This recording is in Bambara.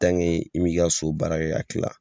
i m'i ka so baara kɛ k'a kila,